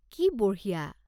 কি বঢ়িয়া!